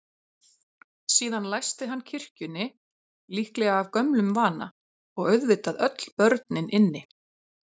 Síðan læsti hann kirkjunni, líklega af gömlum vana, og auðvitað öll börnin inni.